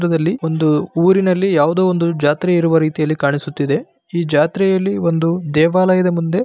ಒಂದು ಊರಿನಲ್ಲಿ ಯಾವ್ದೋ ಒಂದು ಜಾತ್ರೆ ಇರುವ ರೀತಿಯಲ್ಲಿ ಕಾಣಿಸುತ್ತಿದೆ. ಈ ಜಾತ್ರೆಯಲ್ಲಿ ಒಂದು ದೇವಾಲಯದ ಮುಂದೆ.